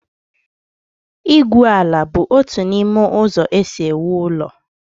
igwu ala bụ otu n'ime ụzọ e si ewu ụlọ